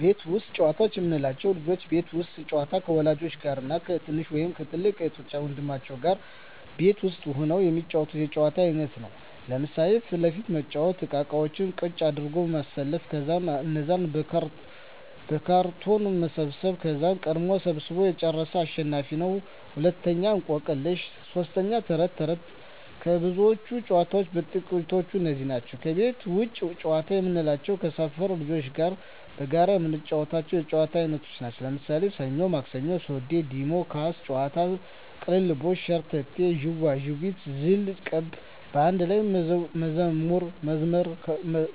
ቤት ውስጥ ጨዋታዎች የምንላቸው፦ ልጆች የቤት ውስጥ ጨዋታ ከወላጆች ጋር እና ከትንሽ ወይም ከትልቅ እህት ወንድሞቻቸው ጋር ቤት ውስጥ ሁነው የሚጫወቱት የጨዋታ አይነት ነው። ለምሣሌ 1. ፊት ለፊት መጫዎቻ እቃቃዎችን ቀጥ አድርጎ ማሠለፍ ከዛ እነዛን በካርቶን መሰብሠብ ከዛ ቀድሞ ሠብስቦ የጨረሠ አሸናፊ ነው፤ 2. እቆቅልሽ 3. ተረት ተረት ከብዙዎች ጨዋታዎች በጥቃቱ እነዚህ ናቸው። ከቤት ውጭ ጨዋታ የምንላቸው ከሠፈር ልጆች ጋር በጋራ የምንጫወተው የጨዋታ አይነት ነው። ለምሣሌ፦ ሠኞ ማክሠኞ፤ ሱዚ፤ ዲሞ፤ ኳስ ጨዋታ፤ ቅልልቦሽ፤ ሸርተቴ፤ ዥዋዥዌ፤ ዝልቁብ፤ በአንድ ላይ መዝሙር መዘመር